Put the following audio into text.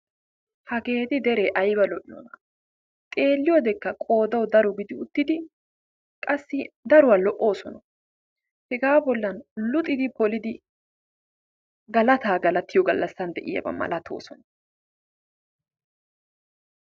Hageeti degree ayba lo'iyoonaa xeelliyodekka qoodawu daro gidi uttidi qassi daruwa lo'oosona. Hegaa bollan luxidi polidi galataa galatiyo gallassan de'iyaba malatoosona.